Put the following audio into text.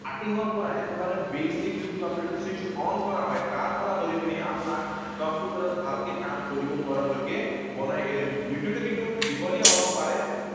Starting ৰ পৰা, একেবাৰে basic যিটো কম্পিউটাৰ switch on কৰা হয়, তাৰ পৰা ধৰি পিনি আপোনাক কম্পিউটাৰত ভালকে কাম কৰিব পৰালৈকে বনাই এৰিম। ভিডিঅটো কিন্তু দীঘলীয়া হব পাৰে।